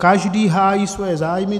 Každý hájí svoje zájmy.